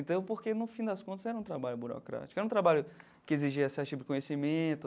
Então, porque no fim das contas era um trabalho burocrático, era um trabalho que exigia certo tipo de conhecimento.